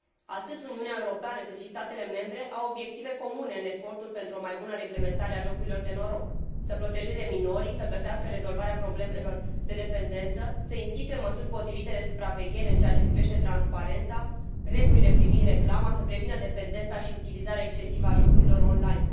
Atât Uniunea Europeană, cât și statele membre au obiective comune în efortul pentru o mai bună reglementare a jocurilor de noroc să protejeze minorii, să găsească rezolvarea problemelor de dependență, să instituie măsuri potrivite de supraveghere în ceea ce privește transparența și regulile privind reclama, precum și să prevină dependența și utilizarea excesivă a jocurilor on line.